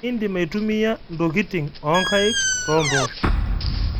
Indim atumiya ntokitin ookaik too mpoosho